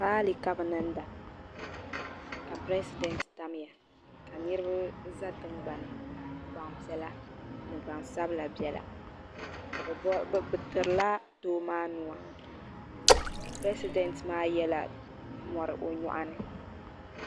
Raali ka be niŋda ka presidenti tamya ka niriba za tiŋgbanni gban yɛla ni gbansabla bɛla be tiri la doo maa nua presidenti maa yala mori o nyɔɣni